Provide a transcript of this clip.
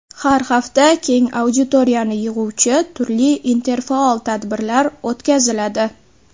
Har hafta keng auditoriyani yig‘uvchi turli interfaol tadbirlar o‘tkaziladi.